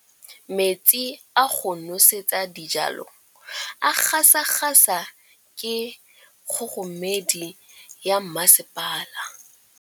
Metsi a go nosetsa dijalo a gasa gasa ke kgogomedi ya masepala.